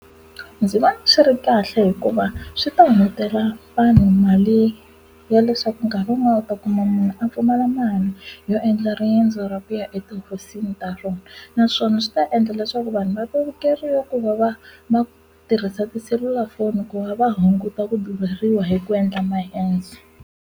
Ndzi vona swi ri kahle hikuva swi ta hungutela vanhu mali ya leswaku nkarhi wun'wana u ta kuma munhu a pfumala mali yo endla riendzo ra kuya eti ta rona naswona swi ta endla leswaku vanhu va ta vevukeriwa ku va va va tirhisa tiselulafoni ku va va hunguta ku beriwa hi ku endla maendzo.